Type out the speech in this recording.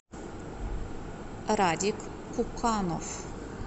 радик пуканов